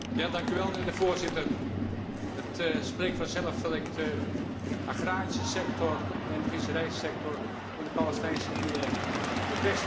Voorzitter, het spreekt vanzelf dat ik de agrarische sector en de visserijsector in de Palestijnse gebieden het beste toewens.